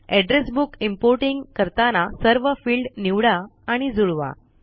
address book importing करताना सर्व field निवडा आणि जुळवा